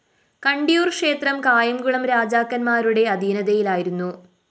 കണ്ടിയൂര്‍ ക്ഷേത്രം കായംകുളം രാജാക്കന്മാരുടെ അധീനതയിലായിരുന്നു